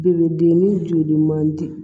Belebele joli man di